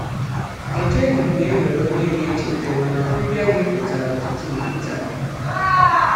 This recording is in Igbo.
Echeghị m na e nwere onye ga-echeta, mana ọbịbịa gị pụtara ọtụtụ ihe taa.